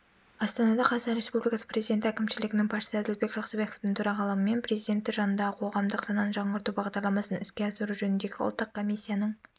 астанада қазақстан республикасы президенті әкімшілігінің басшысы әділбек жақсыбековтың төрағалығымен президенті жанындағы қоғамдық сананы жаңғырту бағдарламасын іске асыру жөніндегі ұлттық комиссияның